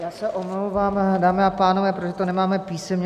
Já se omlouvám, dámy a pánové, protože to nemáme písemně.